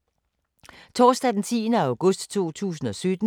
Torsdag d. 10. august 2017